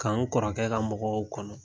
K'an kɔrɔkɛ ka mɔgɔw kɔnɔ.